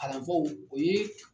Kalanfaw o ye